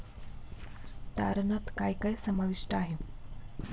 तारणात काय काय समाविष्ट आहे?